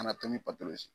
Kana to ni pato ye